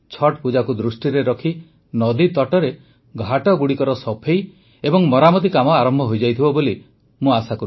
ଛଠ୍ ପୂଜାକୁ ଦୃଷ୍ଟିରେ ରଖି ନଦୀତଟରେ ଘାଟଗୁଡ଼ିକର ସଫେଇ ଓ ମରାମତି କାମ ଆରମ୍ଭ ହୋଇଯାଇଥିବ ବୋଲି ମୋର ଆଶା